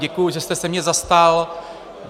Děkuji, že jste se mě zastal.